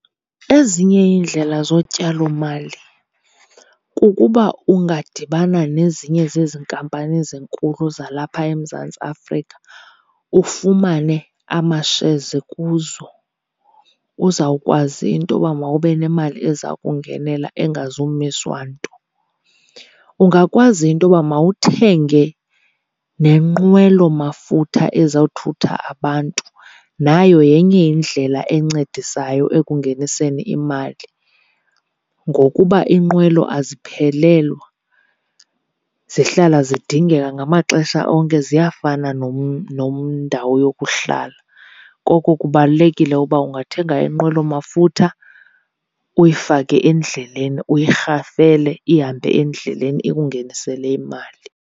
Ezinye iindlela zotyalomali kukuba ungadibana nezinye zezi nkampani zinkulu zalapha eMzantsi Afrika ufumane amashezi kuzo uzawukwazi intoba mawube nemali eza kungenela engazumiswa nto. Ungakwazi intoba mawuthenge nenqwelo mafutha ezawuthutha abantu. Nayo yenye indlela encedisayo ekungeniseni imali ngokuba iinqwelo aziphelelwa, zihlala zidingeka ngamaxesha onke ziyafana nendawo yokuhlala. Koko kubalulekile uba ungathenga inqwelo mafutha uyifake endleleni, uyirhafele ihambe endleleni ikungenisele imali.